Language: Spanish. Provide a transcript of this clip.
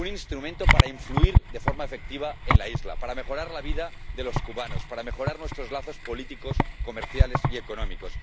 un instrumento para influir de forma efectiva en la isla, para mejorar la vida de los cubanos, para mejorar nuestros lazos políticos, comerciales y económicos